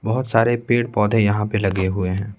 बहुत सारे पेड़-पौधे यहां पे लगे हुए हैं।